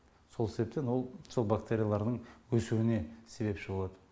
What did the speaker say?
сол себептен ол сол бактерияларының өсуіне себепші болат